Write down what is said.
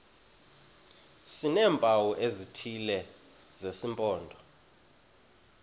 sineempawu ezithile zesimpondo